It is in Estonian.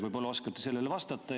Võib-olla oskate sellele vastata.